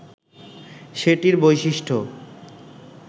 সেটির বৈশিষ্ট্য